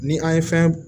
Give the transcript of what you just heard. Ni an ye fɛn